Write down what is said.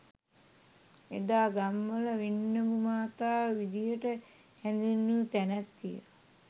එදා ගම්වල වින්නඹු මාතාව විදිහට හැඳින්වූ තැනැත්තිය